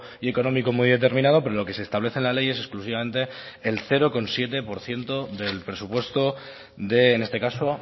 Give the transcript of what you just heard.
y económico muy determinado pero lo que se establece en la ley es exclusivamente el cero coma siete por ciento del presupuesto de en este caso